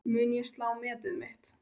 Mun ég slá metið mitt?